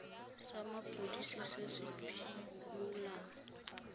sa mapodisi se se phimolang